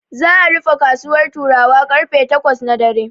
Za'a rufe kasuwar Turawa karfe takwas na dare.